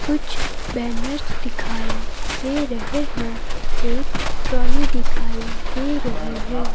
कुछ बैनर्स दिखाई दे रहे हैं एक ट्रॉली दिखाई दे रही है।